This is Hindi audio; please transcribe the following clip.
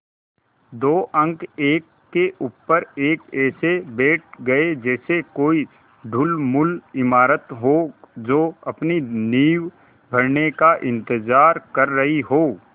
दो अंक एक के ऊपर एक ऐसे बैठ गये जैसे कोई ढुलमुल इमारत हो जो अपनी नींव भरने का इन्तज़ार कर रही हो